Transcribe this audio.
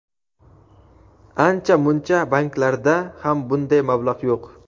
Ancha-muncha banklarda ham bunday mablag‘ yo‘q.